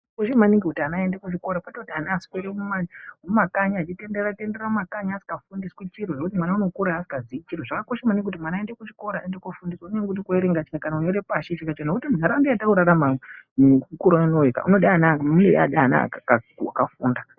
Zvakakosha maningi kuti ana aende kuchikora kwete kuti ana aswere mumakanyi achitenderera tenderera mumakanyi okura asikazivi chiro . Zvakakosha maningi kuti mwana aende kuchikora azive kunyora nekuti mundaraunda yatava kurarama umu mazuva anaya munode ana akafunda .